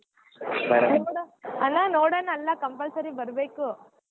ಅಣ್ಣಾ ನೋಡೋಣಾ ಅಲ್ಲಾ compulsory ಬರ್ಬೇಕು.